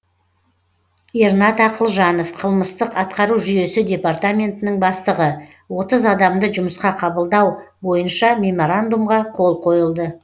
ернат ақылжанов қылмыстық атқару жүйесі департаментінің бастығы отыз адамды жұмысқа қабылдау бойынша меморандумға қол қойылды